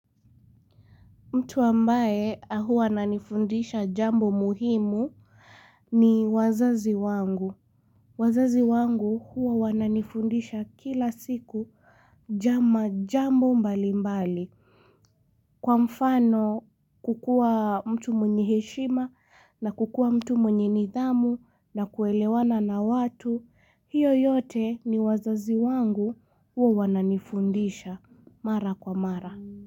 Mtu ambae huwa anifundisha jambo muhimu ni wazazi wangu. Wazazi wangu huwa wananifundisha kila siku jama jambo mbali mbali. Kwa mfano kukua mtu mwenyeheshima na kukua mtu mwenye nidhamu na kuelewana na watu. Hiyo yote ni wazazi wangu huwa wananifundisha mara kwa mara.